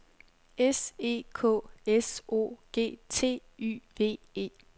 S E K S O G T Y V E